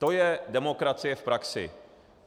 To je demokracie v praxi.